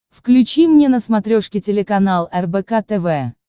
включи мне на смотрешке телеканал рбк тв